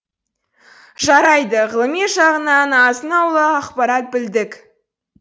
жарайды ғылыми жағынан азын аулақ ақпарат білдік